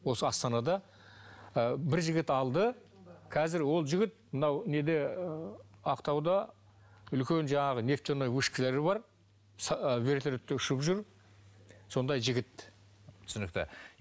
осы астанада ы бір жігіт алды қазір ол жігіт мынау неде ы ақтауда үлкен жаңағы нефтяной вышкалары бар ы вертолетпен ұшып жүр сондай жігіт түсінікті